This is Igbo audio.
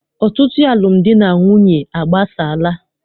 Ọtụtụ alụmdi na nwunye agbasaala.